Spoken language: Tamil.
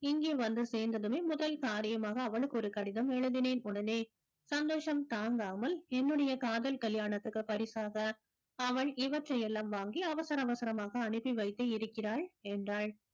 இங்கே வந்து சேர்ந்ததுமே முதல் காரியமாக அவளுக்கு ஒரு கடிதம் எழுதினேன் உடனே சந்தோஷம் தாங்காமல் என்னுடைய காதல் கல்யாணத்துக்கு பரிசாக அவள் இவற்றையெல்லாம் வாங்கி அவசர அவசரமாக அனுப்பி வைத்து இருக்கிறாள் என்றாள்